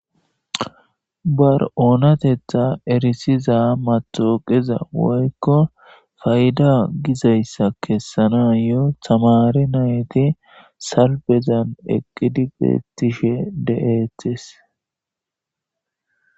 Ba oonatetha erissiza mettawoqiya woykko payda gizayssa kessanayyo tamaare nayti salfen eqqidi beetishe de7eettes.